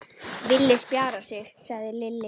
Villi spjarar sig, sagði Lilli.